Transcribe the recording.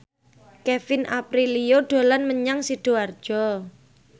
Kevin Aprilio dolan menyang Sidoarjo